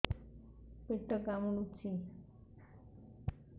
ପେଟ କାମୁଡୁଛି